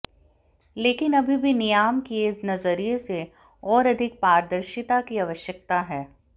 लेकिन अभी भी नियामकीय नजरिए से और अधिक पारदर्शिता की आवश्यकता है